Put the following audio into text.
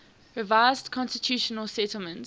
revised constitutional settlement